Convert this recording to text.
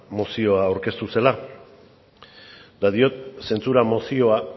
mozioa aurkeztu zela eta diot zentzura mozioa